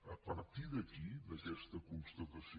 a partir d’aquí d’aquesta constatació